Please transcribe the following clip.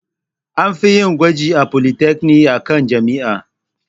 An fiyin gwaji a polytechnic akan jami'a